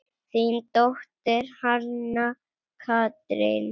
Þín dóttir, Hanna Katrín.